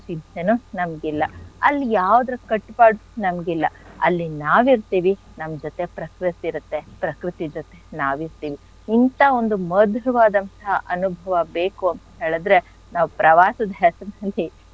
ಚಿಂತೆನೂ ನಮ್ಗಿಲ್ಲ. ಅಲ್ ಯಾವ್ದ್ರ್ ಕಟ್ಪಾಡು ನಮ್ಗಿಲ್ಲ. ಅಲ್ಲಿ ನಾವಿರ್ತಿವಿ ನಮ್ ಜೊತೆ ಪ್ರಕೃತಿ ಇರತ್ತೆ. ಪ್ರಕೃತಿ ಜೊತೆ ನಾವಿರ್ತಿವಿ. ಇಂಥ ಒಂದು ಮಧುರವಾದಂಥ ಅನುಭವ ಬೇಕು ಅಂತ್ ಹೇಳಿದ್ರೆ ನಾವ್ ಪ್ರವಾಸದ್ ಹೆಸ್ರ್ನಲ್ಲಿ,